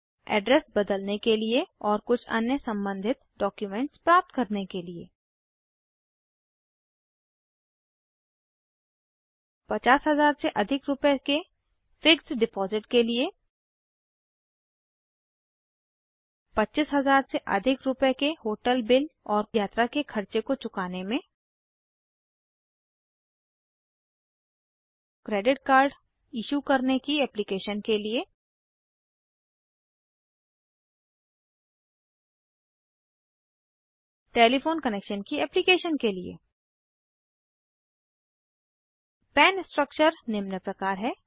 address बदलने के लिए और कुछ अन्य सम्बंधित डॉक्युमेंट्स प्राप्त करने के लिए 50000 से अधिक रूपए के फिक्स्ड डिपॉज़िट के लिए 25000 से अधिक रूपए के होटल बिल और यात्रा के खर्चे को चुकाने में क्रेडिट कार्ड इशू करने की एप्लीकेशन के लिए टेलीफोन कनेक्शन की एप्लीकेशन के लिए पन स्ट्रक्चर निम्न प्रकार है